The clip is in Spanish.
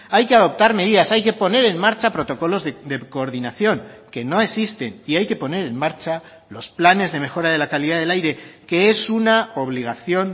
hay que adoptar medidas hay que poner en marcha protocolos de coordinación que no existen y hay que poner en marcha los planes de mejora de la calidad del aire que es una obligación